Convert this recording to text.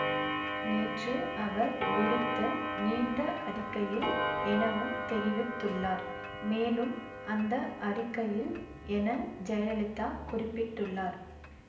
நேற்று அவர் விடுத்த நீண்ட அறிக்கையில் எனவும் தெரிவித்துள்ளார் மேலும் அந்த அறிக்கையில் என ஜெயலலிதா குறிப்பிட்டுள்ளார்